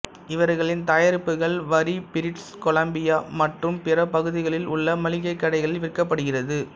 இவர்களின் தயாரிப்புகள் வரி பிரிட்டிசு கொலம்பியா மற்றும் பிற பகுதிகளில் உள்ள மளிகைக் கடைகளில் விற்கப்படுகிறது